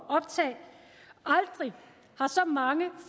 optag aldrig har så mange